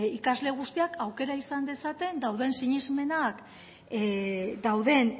ikasle guztiak aukera izan dezaten dauden sinesmenak dauden